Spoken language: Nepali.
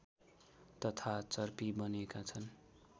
तथा चर्पी बनेका छन्